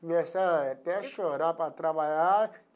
Comecei até a chorar para trabalhar.